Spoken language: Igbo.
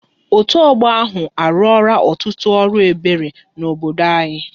Otu ọgbọ ahụ, a ruora ọtụtụ ọrụ obi ebere n'obodo anyị